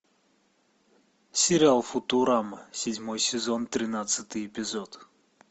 сериал футурама седьмой сезон тринадцатый эпизод